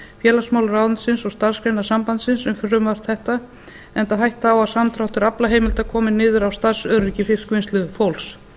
félagsmálaráðuneytisins og starfsgreinasambandsins um frumvarp þetta enda hætta á að samdráttur aflaheimilda komi niður á starfsöryggi fiskvinnslufólks